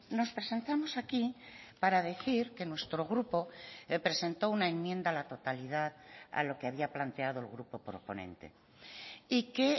nos presentamos aquí para decir que nuestro grupo presentó una enmienda a la totalidad a lo que había planteado el grupo proponente y que